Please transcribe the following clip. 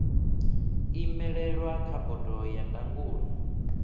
imelelwa kha bodo ya ndangulo